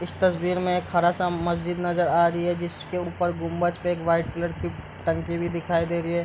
स तस्वीर में खड़ा-सा मस्जिद नजर आ रही है जिसके ऊपर गुंबज पे एक व्हाइट कलर की टंकी भी दिखाई दे रही है।